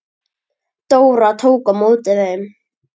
Dóra tók á móti þeim.